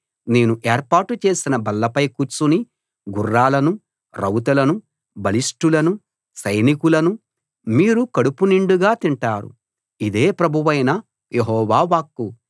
నేను ఏర్పాటు చేసిన బల్లపై కూర్చుని గుర్రాలను రౌతులను బలిష్టులను సైనికులను మీరు కడుపు నిండుగా తింటారు ఇదే ప్రభువైన యెహోవా వాక్కు